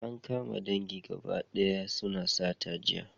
An kama dangi gaba daya suna sata jiya